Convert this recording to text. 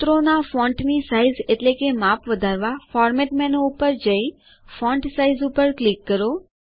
સૂત્રોના ફોન્ટની સાઈઝ એટલેકે માપ વધારવા ફોર્મેટ મેનું ઉપર જઈ ફોન્ટ સાઇઝ ઉપર ક્લિક કરો